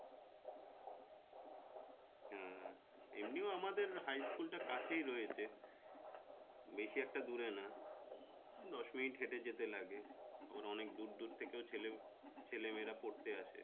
হ্যাঁ এমনি ও আমাদের high school টা কাছেই রয়েছে বেশি একটা দূরে না দশ মিনিট হেঁটে যেতে লাগে আবার অনেক দূরে দূরে থেকেও ছেলে ছেলে মেয়েরা পড়তে আসে